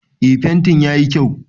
Eh fentin yayi kyau